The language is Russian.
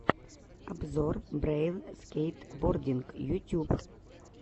обзор брэйл скейтбординг ютюб